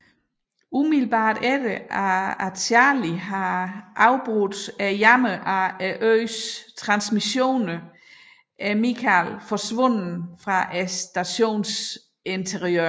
Umiddelbart efter Charlie har afbrudt jammeren af øens transmissioner er Mikhail forsvundet fra stationens interiør